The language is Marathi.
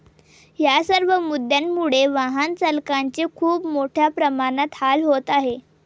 यासर्व मुद्द्यांमुळे वाहन चालकांचे खूप मोठ्या प्रमाणात हाल होत आहेत.